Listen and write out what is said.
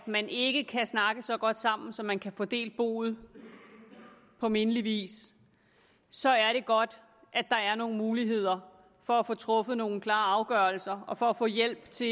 man ikke kan snakke så godt sammen at man kan få delt boet på mindelig vis så er det godt at der er nogle muligheder for at få truffet nogle klare afgørelser og for at få hjælp til